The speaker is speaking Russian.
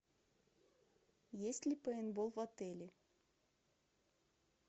есть ли пейнтбол в отеле